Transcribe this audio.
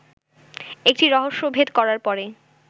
একটি রহস্যভেদ করার পরে